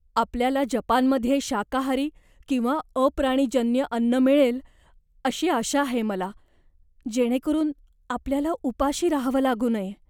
आपल्याला जपानमध्ये शाकाहारी किंवा अप्राणीजन्य अन्न मिळेल अशी आशा आहे मला, जेणेकरून आपल्याला उपाशी राहावं लागू नये.